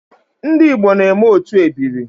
Ndi Igbo na-eme otu ebiri